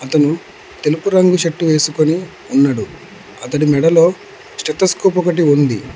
అతను తెలుపు రంగు షర్టు వేసుకొని ఉన్నడు అతడి మెడలో స్టేటస్కోపు ఒకటి ఉంది.